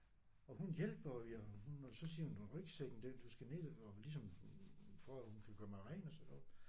Og hun hjælper og vi er hun og så siger hun rygsækken det du skal ned og ligesom for at hun kan gøre mig ren og sådan noget